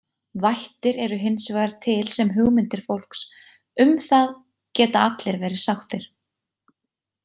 Vættir eru hins vegar til sem hugmyndir fólks, um það geta allir verið sáttir.